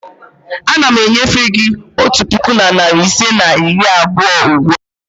Ana m enyefe gị otu puku na narị ise na iri abụọ ugbu a.